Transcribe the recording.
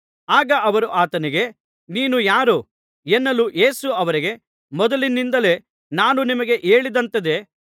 ಆಗ ಅವರು ಆತನಿಗೆ ನೀನು ಯಾರು ಎನ್ನಲೂ ಯೇಸು ಅವರಿಗೆ ಮೊದಲಿನಿಂದಲೇ ನಾನು ನಿಮಗೆ ಹೇಳಿದಂಥದ್ದೇ